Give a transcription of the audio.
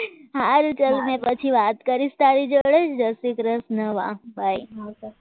આ સારું ચલ મેં પછી વાત કરીશ તારી જોડે જય શ્રી કૃષ્ણ વાહ byy